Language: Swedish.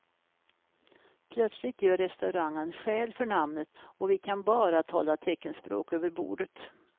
Plötsligt gör restaurangen skäl för namnet och vi kan bara tala teckenspråk över bordet.